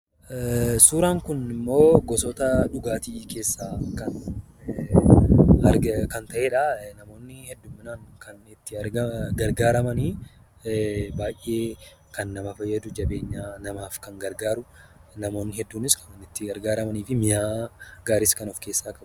Suuraan kunimmoo gosoota dhugaatii keessaa kan ta'eedha. Namoonni kan itti gargaaraman baay'ee kan nama fayyadu, jabeenya namaaf kan gargaaru, namoonni hedduunis kan itti gargaaramanii fi mi'aa baay'ee kan of keessaa qabudha.